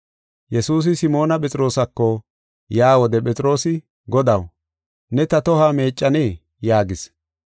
Yesuusi Simoona Phexroosako yaa wode Phexroosi, “Godaw, ne ta tohuwa meeccanee?” yaagis.